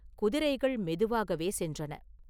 குதிரைகள் மெதுவாகவே சென்றன.